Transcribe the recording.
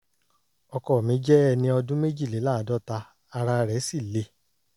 ọkọ mi jẹ́ ẹni ọdún méjìléláàádọ́ta ara rẹ̀ sì le